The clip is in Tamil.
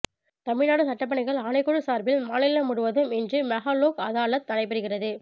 தமிழ்நாடு சட்டப்பணிகள் ஆணைக்குழு சார்பில் மாநிலம் முழுவதும் இன்று மெகா லோக் அதாலத் நடைபெற்றது